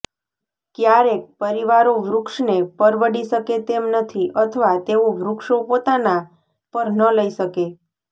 ક્યારેક પરિવારો વૃક્ષને પરવડી શકે તેમ નથી અથવા તેઓ વૃક્ષો પોતાનાં પર ન લઈ શકે